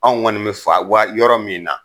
Anw kɔni fan wa yɔrɔ min na.